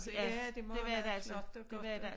Ja det var meget flot og godt